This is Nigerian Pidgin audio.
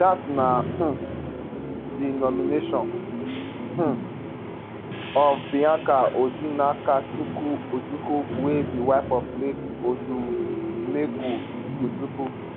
dat na um di nomination um of bianca odinakachukwu ojukwu wey be wife of late odumegwu ojukwu